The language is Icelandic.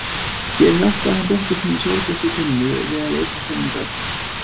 Síðan hjálpaði hann dóttur sinni Sólbjörtu Tinnu við að leysa sömu gátu.